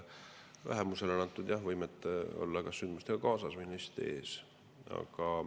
Vähemusele on antud võime käia kas sündmustega kaasas või neist ees.